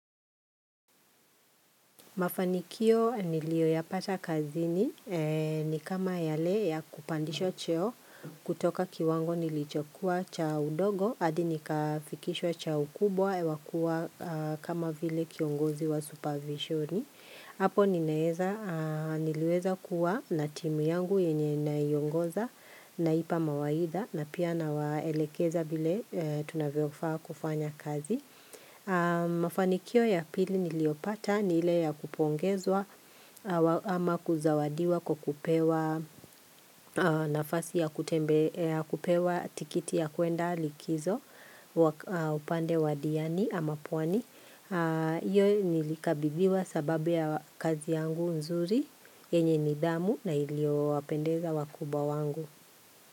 Mafanikio niliyoyapata kazini ni kama yale ya kupandisha cheo kutoka kiwango nilichokuwa cha udogo hadi nikafikisha cha ukubwa yawakuwa kama vile kiongozi wa supervisioni hapo ningeweza kuwa na timu yangu yenye naiongoza na pia mawaida na pia na waelekeza vile tunavyofa kufanya kazi Mafanikio ya pili niliyopata ni ile ya kupongezwa ama kuzawadiwa kupewa nafasi ya kutembea ya kupewa tikiti ya kuenda likizo upande wa diani ama pwani Iyo nilikabibiwa sababu ya kazi yangu nzuri yenye ni damu na iliopendeza wakuba wangu.